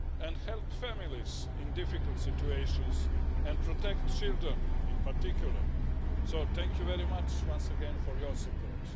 to help families in difficult situations and to protect children in particular. So thank you once again for your support.